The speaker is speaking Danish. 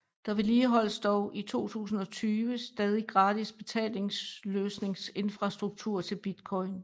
Der vedligeholdes dog i 2020 stadig gratis betalingsløsningsinfrastruktur til Bitcoin